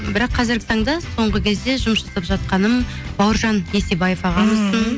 бірақ қазіргі таңда соңғы кезде жұмыс жасап жатқаным бауыржан есебаев ағамыздың